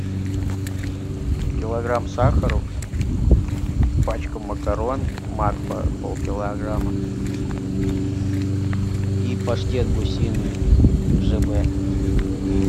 килограмм сахара пачка макарон макфа пол килограмма и паштет гусиный жб